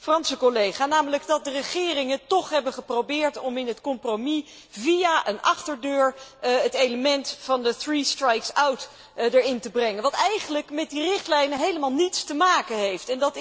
mijn Franse collega, namelijk dat de regeringen toch hebben geprobeerd om in het compromis via een achterdeur het element van de three strikes out erin te brengen, wat eigenlijk met de richtlijn helemaal niets te maken heeft.